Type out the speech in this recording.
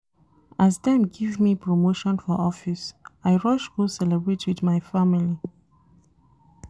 As dem give me promotion for office, I rush go celebrate wit my family.